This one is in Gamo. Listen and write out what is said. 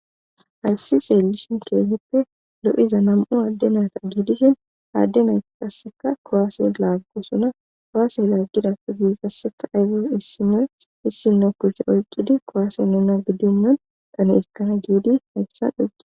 Hayssi xeelishin keesippe lo'iza nam'u adde nayta giidishin aadde nay qasseka kowaase laaggosuna koaase laggidappe gui kasseka ayfo issinno issinno kuchche oyqqidi koaase nuna giddo nun tani ekkana giidi hayssan dhoqqi